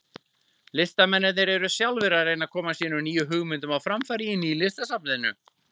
Listamennirnir eru sjálfir að reyna að koma sínum nýju hugmyndum á framfæri í Nýlistasafninu.